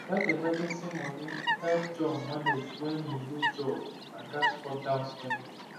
that emergency money help john manage when him lose job and gats cut down spending